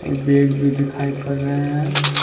और बैग भी दिखाई पड़ रहे हैं।